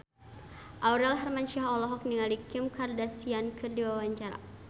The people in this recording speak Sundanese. Aurel Hermansyah olohok ningali Kim Kardashian keur diwawancara